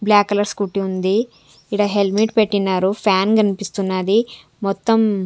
Black colour scooty ఉంది ఇక్కడ helmet పెట్టినారు ఫ్యాన్ కనిపిస్తున్నది మొత్తం.